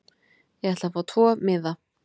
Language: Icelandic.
Ég ætla að fá tvo miða.